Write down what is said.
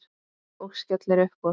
Og skellir upp úr.